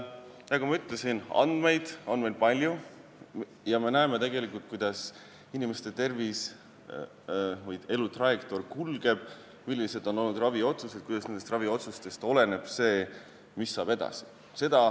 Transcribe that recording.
Nagu ma ütlesin, andmeid on meil palju ja me näeme tegelikult, kuidas inimeste tervis ja elutrajektoor kulgeb, millised on olnud raviotsused ja kuidas nendest oleneb see, mis saab edasi.